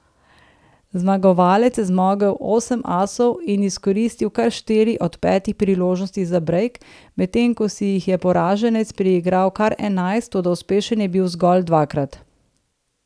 Zmagovalec je zmogel osem asov in izkoristil kar štiri od petih priložnosti za brejk, medtem ko si jih je poraženec priigral kar enajst, toda uspešen je bil zgolj dvakrat.